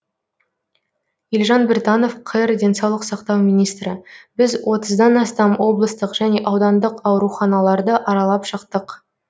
елжан біртанов қр денсаулық сақтау министрі біз отыздан астам облыстық және аудандық ауруханаларды аралап шықтық